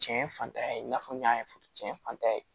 Cɛn fantanya ye i n'a fɔ n y'a fɔ cɛn fantan ye